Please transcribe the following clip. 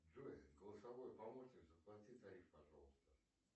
джой голосовой помощник заплати тариф пожалуйста